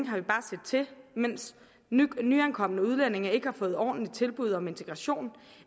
har vi bare set til mens nyankomne udlændinge ikke har fået et ordentligt tilbud om integration